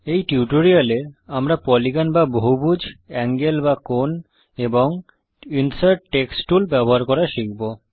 এই টিউটোরিয়াল এ আমরা পলিগন বা বহুভুজ এঙ্গেল বা কোণ এবং ইন্সার্ট টেক্সট টুল ব্যবহার করা শিখব